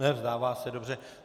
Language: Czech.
Ne, vzdává se, dobře.